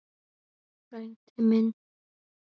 Frændi minn!